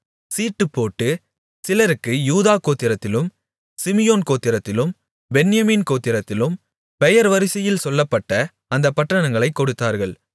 சீட்டுப்போட்டு சிலருக்கு யூதா கோத்திரத்திலும் சிமியோன் கோத்திரத்திலும் பென்யமீன் கோத்திரத்திலும் பெயர் வரிசையில் சொல்லப்பட்ட அந்தப் பட்டணங்களைக் கொடுத்தார்கள்